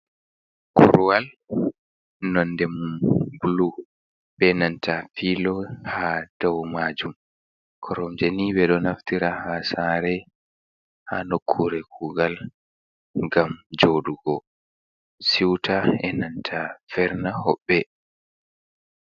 Korwal nonde mumbulu be nanta filo ha dau majum. koromjeni ɓe ɗo naftira ha saare, ha nokkure kugal gam jodugo siuta e nanta verna hoɓɓe.